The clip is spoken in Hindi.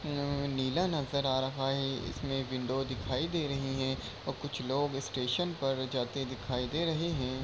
अअ नीला नज़र आ रहा है | इसमें विंडो दिखाई दे रही हैं और कुछ लोग स्टेशन पर जाते दिखाई दे रहे हैं।